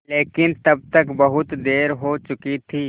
लेकिन तब तक बहुत देर हो चुकी थी